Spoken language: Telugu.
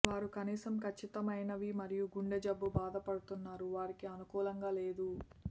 వారు కనీసం ఖచ్చితమైనవి మరియు గుండె జబ్బు బాధపడుతున్నారు వారికి అనుకూలంగా లేదు